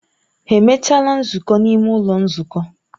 Ha emechaala nzukọ n'ime ụlọ nzukọ?